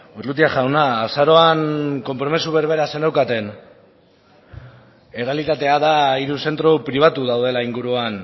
urrutia jauna azaroan konpromezu berbera zeneukaten errealitatea da hiru zentro pribatu daudela inguruan